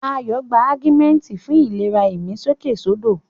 Ayọ̀ gba Augmentin fún ìlera ìmí sókèsódò.